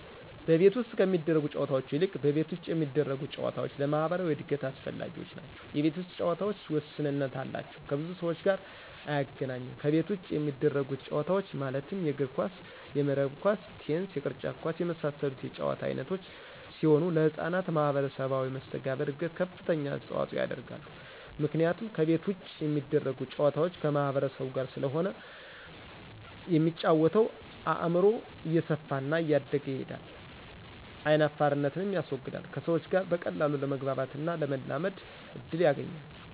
ከቤት ውስጥ ከሚደረጉ ጨዎታዎች ይልቅ ከቤት ውጭ የሚደረጉ ጨዎታዎች ለማህበራዊ እድገት አስፈላጊዎች ናቸው የቤት ውስጥ ጨዎታዎች ውስንነት አላቸው ከብዙ ሰዎች ጋር አያገናኙም ከቤት ውጭ የሚደረጉት ጨዎታዎች ማለትም የእግር ኳስ :የመረብ ኳስ :ቴንስ የቅርጫት ኳስ የመሳሰሉት የጨዎታ አይነቶች ሲሆኑ ለህጻናት ማህበራዊ መሰተጋብር እድገት ከፍተኛ አስተዋጽኦ ያደርጋሉ ምክንያቱም ከቤት ውጭ የሚደረጉ ጨዋታዎች ከማህበረሰቡ ጋር ስለሆነ የሚጫወተው አእምሮው እየሰፋና እያደገ ይሄዳል አይናፋርነትንም ያስወግዳል ከሰዎች ጋር በቀላሉ ለመግባባትና ለመላመድ እድል ያገኛል።